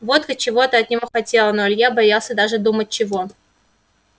водка чего-то от него хотела но илья боялся даже думать чего